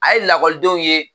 A ye lakɔlidenw ye